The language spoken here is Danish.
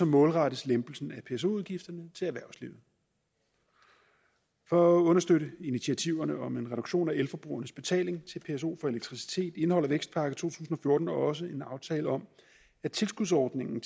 målrettes lempelsen af pso udgifterne til erhvervslivet for at understøtte initiativerne om en reduktion af elforbrugernes betaling til pso for elektricitet indeholder vækstpakke to tusind og fjorten også en aftale om at tilskudsordningen